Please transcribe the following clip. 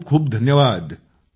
खूप खूप धन्यवाद